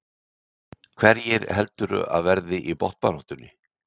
Hverjir heldurðu að verði í botnbaráttunni?